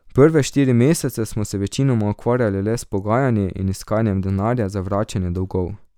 Prve štiri mesece smo se večinoma ukvarjali le s pogajanji in iskanjem denarja za vračanje dolgov.